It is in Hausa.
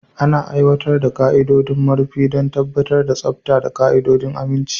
Ana aiwatar da ƙa'idodin marufi don tabbatar da tsafta da ƙa'idodin aminci.